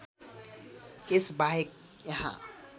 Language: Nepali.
यस बाहेक यहाँ